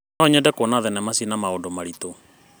No nyende kuona thenema cina maũndũ maritũ.